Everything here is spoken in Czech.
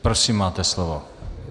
Prosím, máte slovo.